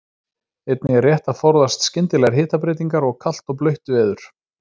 Einnig er rétt að forðast skyndilegar hitabreytingar og kalt og blautt veður.